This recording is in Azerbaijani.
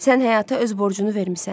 Sən həyata öz borcunu vermisən.